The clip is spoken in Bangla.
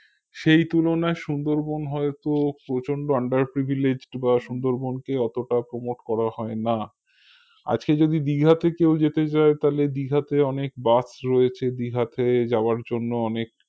সেই তুলনায় সুন্দরবন হয়তো প্রচন্ড underpreviliged বা সুন্দরবনকে অতটা promote করা হয়না আজকে যদি দীঘাতে কেউ যেতে চায় দীঘাতে অনেক bus রয়েছে দীঘাতে যাওয়ার জন্য অনেক